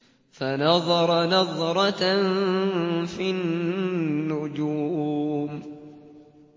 فَنَظَرَ نَظْرَةً فِي النُّجُومِ